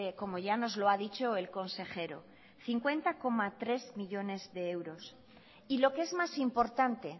como ya nos lo ha dicho el consejero cincuenta coma tres millónes de euros y lo que es más importante